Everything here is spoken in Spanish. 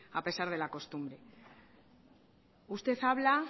a pesar de la costumbre usted habla